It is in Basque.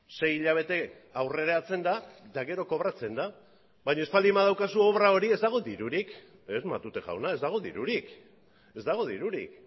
sei hilabete aurreratzen da eta gero kobratzen da baina ez baldin badaukazu obra hori ez dago dirurik ez matute jauna ez dago dirurik ez dago dirurik